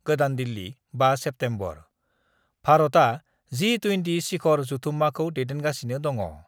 गोदान दिल्ली, 5 सेप्तेम्बर : भारतआ जि -20 सिखर जथुमाखौ दैदेनगासिनो दङ।